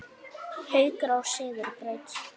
Haukar á sigurbraut